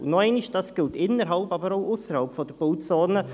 Und nochmals: Dies gilt innerhalb und ausserhalb der Bauzone.